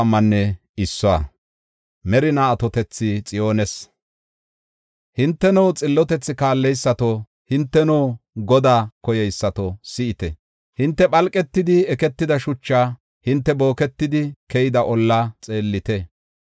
Hinteno xillotethi kaalleysato, hinteno Godaa koyeysato si7ite. Hinte phalqetidi eketida shuchaa hinte booketidi keyida ollaa xeellite.